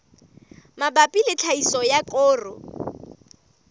mabapi le tlhahiso ya koro